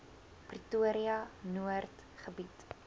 pretoria noord gebied